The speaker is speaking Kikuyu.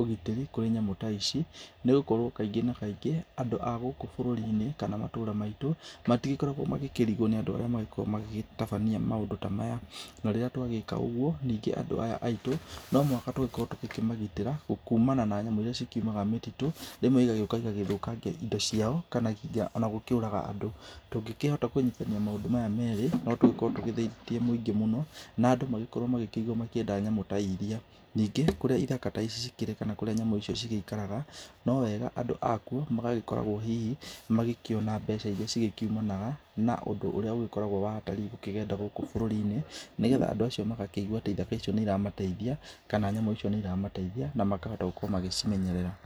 ũgitĩrĩ kũrĩ nyamũ ta ici. Nĩ gũkorwo kaingĩ na kaingĩ ,andũ a gũkũ bũrũri -inĩ kana matũra maitũ, matikoragwo makĩrigwo nĩ andũ arĩa makoragwo magĩtabania maũndũ ta maya. Na rĩrĩa twagĩka ũguo ningĩ andũ aya aitũ , no mũhaka tũkorwo tũkĩmagitĩra kumana na nyamũ iria cikiumaga mũtitũ, rĩmwe ĩgacĩũka ĩgathũkangia ciao, kana nginya ona gũkĩũraga andũ, tũngĩhota kũnyitithania maũndũ maya merĩ, no tũkorwo tũteithĩtie maũndũ maingĩ mũno. Na andũ magĩkorwo makĩigua makĩenda nyamũ ta iria. Ningĩ kũrĩa ithaka ta ici cikĩrĩ kana kũrĩa nyamũ ta ici cigĩikaraga no wega andũ akuo magagĩkorwo hihi magĩkiona mbeca irĩa cikiumaga na ũndũ ũrĩa ũkoragwo wa agendi, gũkĩgenda gũkũ bũrũri -inĩ nĩgetha andũ acio magakĩona atĩ mbeca icio atĩ nĩ iramateithia, kana nyamũ icio nĩ irateithia na makahota gũcimenyerera.